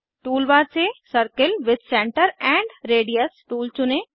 tool bar से circle with centre and radius tool चुनें